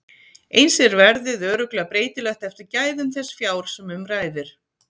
Eins er verðið örugglega breytilegt eftir gæðum þess fjár sem um ræðir.